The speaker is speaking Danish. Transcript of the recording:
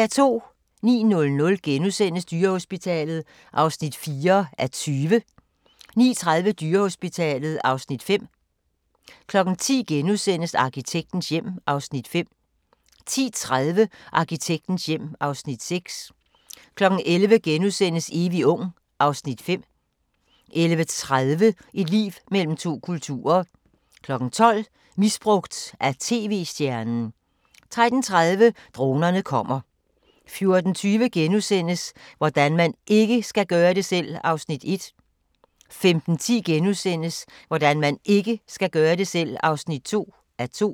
09:00: Dyrehospitalet (4:20)* 09:30: Dyrehospitalet (Afs. 5) 10:00: Arkitektens hjem (Afs. 5)* 10:30: Arkitektens hjem (Afs. 6) 11:00: Evig ung (Afs. 5)* 11:30: Liv mellem to kulturer 12:00: Misbrugt af tv-stjernen 13:30: Dronerne kommer 14:20: Hvordan man IKKE skal gøre det selv! (1:2)* 15:10: Hvordan man IKKE skal gøre det selv! (2:2)*